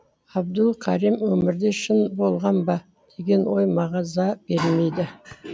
абдул карим өмірде шын болған ба деген ой мағаза бермеді